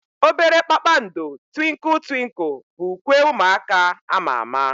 Obere kpakpando Twinkle twinkle bụ ukwe ụmụaka ama ama.